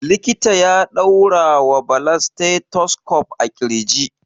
Likita ya ɗaura wa Bala stethoscope a ƙirji.